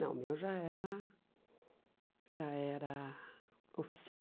Não, o meu já era já era oficial.